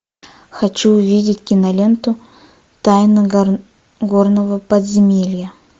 хочу увидеть киноленту тайна горного подземелья